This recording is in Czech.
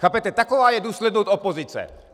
Chápete, taková je důslednost opozice.